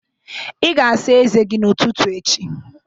Ị ga-asa ezé gị n'ụtụtụ echi